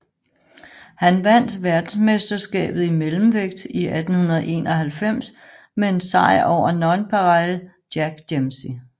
Han vandt verdensmesterskabet i mellemvægt i 1891 med en sejr over Nonpareil Jack Dempsey